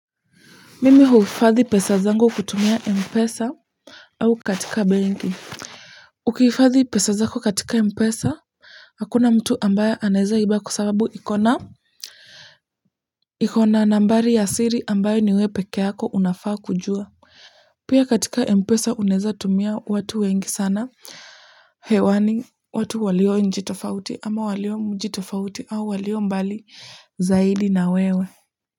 Mimi huifadhi pesa zangu kutumia Mpesa au katika benki. Ukihifadhi pesa zako katika Mpesa. Hakuna mtu ambaye anaeza iba kwa sababu iko na iko na nambari ya siri ambayo ni we pekeyako unafaa kujua pia katika mpesa unaeza kutumia watu wengi sana hewani watu walio nchi tofauti ama walio mji tofauti au walio mbali zaidi na wewe.